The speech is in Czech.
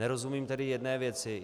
Nerozumím tedy jedné věci.